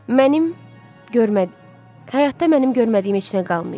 Mənim görmə həyatda mənim görmədiyim heç nə qalmayıb.